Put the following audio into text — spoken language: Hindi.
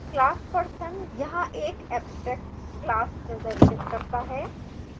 class person यहाँ एक abstract class प्रदर्शित करता है